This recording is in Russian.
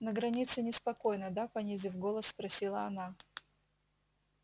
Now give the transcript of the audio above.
на границе неспокойно да понизив голос спросила она